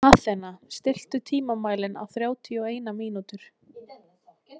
Athena, stilltu tímamælinn á þrjátíu og eina mínútur.